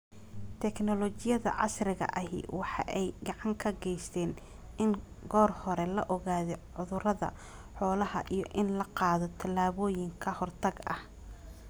Tignoolajiyada casriga ahi waxa ay gacan ka gaysatay in goor hore la ogaado cudurrada xoolaha iyo in la qaado tallaabooyin ka hortag ah.